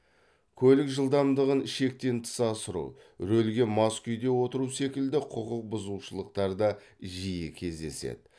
көлік жылдамдығын шектен тыс асыру рөлге мас күйде отыру секілді құқық бұзушылықтар да жиі кездеседі